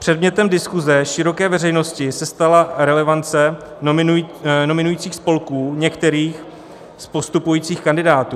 Předmětem diskuze široké veřejnosti se stala relevance nominujících spolků některých z postupujících kandidátů.